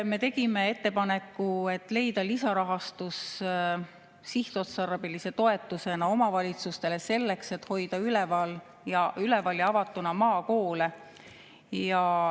Me tegime ettepaneku, et leida lisarahastus sihtotstarbelise toetusena omavalitsustele selleks, et hoida üleval ja avatuna maakoole.